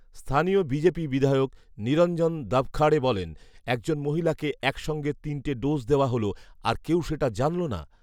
স্থানীয় বিজেপি বিধায়ক নিরঞ্জন দাভখাড়ে বলেন, ”একজন মহিলাকে একসঙ্গে তিনটে ডোজ দেওয়া হল, আর কেউ সেটা জানল না